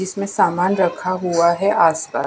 इसमें सामान रखा हुआ है आस पास।